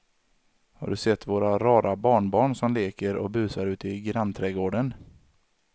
Har du sett våra rara barnbarn som leker och busar ute i grannträdgården!